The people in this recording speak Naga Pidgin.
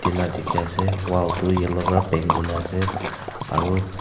ela dikhiase wall tu yellow pra paint kurna ase aru--